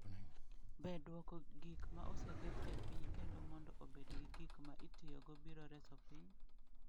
Be dwoko gik ma oseket e piny kendo mondo obed gik ma itiyogo biro reso piny?